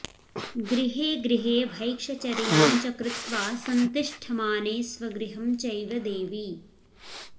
गृहेगृहे भैक्षचर्यां च कृत्वा संतिष्ठमाने स्वगृहं चैव देवी